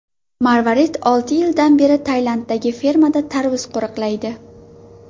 Marvarid olti yildan beri Tailanddagi fermada tarvuz qo‘riqlaydi.